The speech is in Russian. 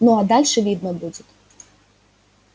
ну а дальше видно будет